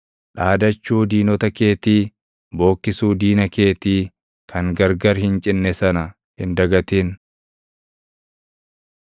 Dhaadachuu diinota keetii, bookkisuu diina keetii kan gargar hin cinne sana hin dagatin.